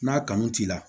N'a kanu t'i la